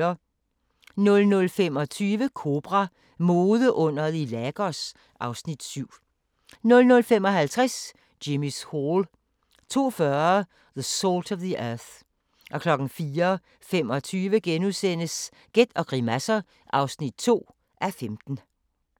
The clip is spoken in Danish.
00:25: Kobra – Modeunderet i Lagos (Afs. 7) 00:55: Jimmy's Hall 02:40: The Salt of the Earth 04:25: Gæt og grimasser (2:15)*